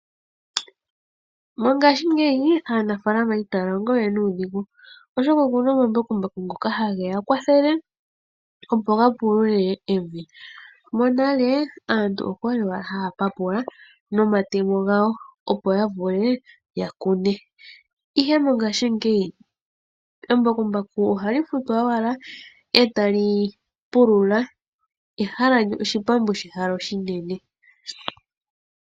Mongaashingeyi aanafaalama itaya longo we nuudhigu, oshoka ouna omambakumbaku ngoka ha geya kwathele opo gapulule evi. Monale aantu okwali wala haya papula nomatemo ngawo opo yavule yakune. Ihe mongaashingeyi embakumbaku ohali futwa owala etalipulula eshipambu shehala oshinene.